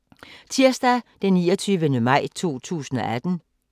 Tirsdag d. 29. maj 2018